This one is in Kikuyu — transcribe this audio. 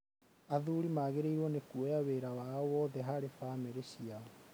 Athuri magĩrĩirũo nĩ kuoya wĩra wao wothe harĩ famĩlrĩ ciao.